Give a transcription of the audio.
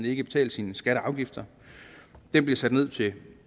ikke betalte sine skatter og afgifter det er blevet sat ned til